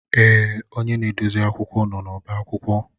Èè, onye na-edozi akwụkwọ nọ n'ọba akwụkwọ.